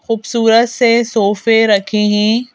खूबसूरत से सोफे रखे हैं।